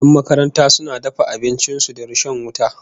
Yan makaranta suna dafa abincin su da rishon wuta